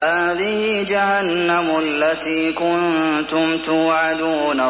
هَٰذِهِ جَهَنَّمُ الَّتِي كُنتُمْ تُوعَدُونَ